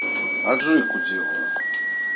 аджику делаю